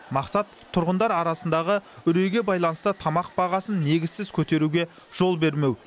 мақсат тұрғындар арасындағы үрейге байланысты тамақ бағасын негізсіз көтеруге жол бермеу